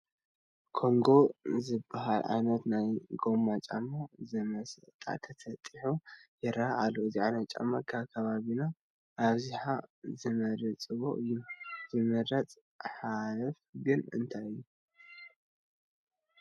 ኮንጐ ዝበሃል ዓይነት ናይ ጐማ ጫማ ንመሸጣ ተሰጢሑ ይርአ ኣሎ፡፡ እዚ ዓይነት ጫማ ኣብ ከባቢና ኣብዝሓ ዝመርፅዎ እዩ፡፡ ዘምረፆ ሓለፋ ግን እንታይ እዩ?